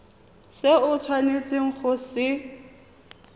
se o tshwanetseng go se